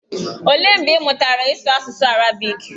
Olee mgbe ị mụtara ịsụ asụsụ arabiiki?